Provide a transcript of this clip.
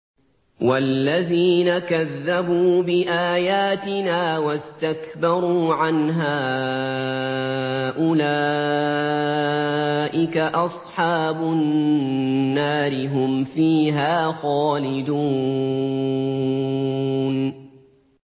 وَالَّذِينَ كَذَّبُوا بِآيَاتِنَا وَاسْتَكْبَرُوا عَنْهَا أُولَٰئِكَ أَصْحَابُ النَّارِ ۖ هُمْ فِيهَا خَالِدُونَ